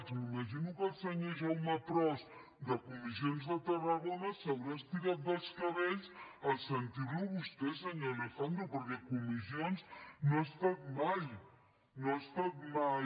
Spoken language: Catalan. m’imagino que el senyor jaume pros de comissions de tarragona s’haurà estirat dels cabells en sentir lo a vostè senyor alejandro perquè comissions no ha estat mai